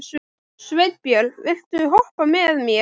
Sveinbjörg, viltu hoppa með mér?